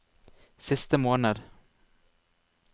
siste måned